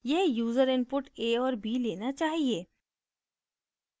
यह user inputs a और b लेना चाहिए